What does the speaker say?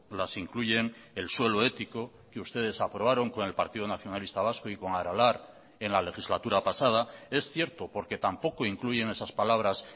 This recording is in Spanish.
las incluyen el suelo ético que ustedes aprobaron con el partido nacionalista vasco y con aralar en la legislatura pasada es cierto porque tampoco incluyen esas palabras